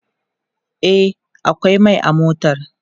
e akwai Mai a motar